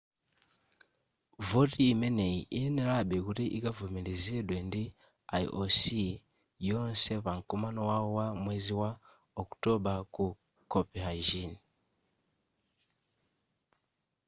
voti imeneyi iyenerabe kuti ikavomerezedwe ndi ioc yonse pa mkumano wawo wa mwezi wa okutobala ku copenhagen